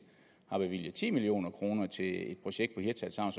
har bevilget ti million kroner til et projekt på hirtshals havn